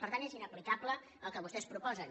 per tant és inaplicable el que vostès proposen